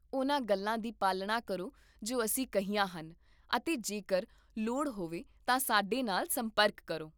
ਉਹਨਾਂ ਗੱਲਾਂ ਦੀ ਪਾਲਣਾ ਕਰੋ ਜੋ ਅਸੀਂ ਕਹੀਆਂ ਹਨ ਅਤੇ ਜੇਕਰ ਲੋੜ ਹੋਵੇ ਤਾਂ ਸਾਡੇ ਨਾਲ ਸੰਪਰਕ ਕਰੋ